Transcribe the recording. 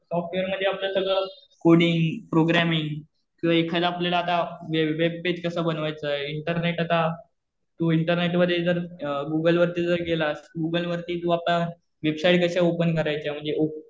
Software मध्ये आपल्याला सगळं कोडिंग, प्रोग्रामिंग किंवा एखादं आपल्याला आता वेबपेज कसं बनवायचं. इंटरनेट आता तू इंटरनेट मध्ये जर गुगलवरती जर गेलास, गुगलवरती तू आता वेबसाईट कशा ओपन करायच्या म्हणजे